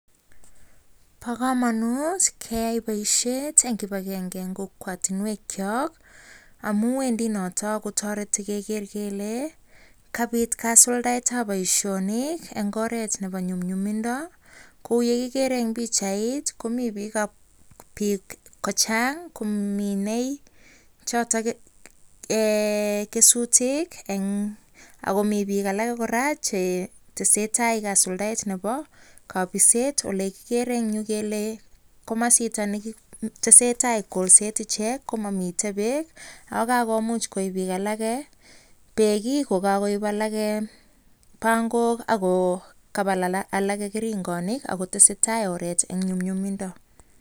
Bokamanut keyai boishet eng kibagenge eng kokwatinwek chok amu notok kotoreti keger kele kaisulda boishoni eng oret nebo nyumnyumindo ,kou ye igere eng pikchait komi bik che Chang kominei kesutit akomi bik alake kora chetesetai kasuldaet ab kabiset ale kigere eng Yu kele komasta tesetai icheket komami bek akokakoib icheket, bek, ko kakoib alake pangok akotestai oret eng nyumnyumindo